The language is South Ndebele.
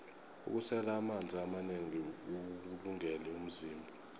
ukusela amanzi amanengi kuwulungele umzimba